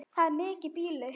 Það er mikið býli.